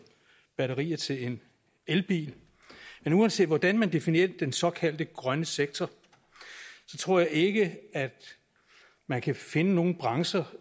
batterier til en elbil men uanset hvordan man definerer den såkaldte grønne sektor tror jeg ikke at man kan finde nogen branche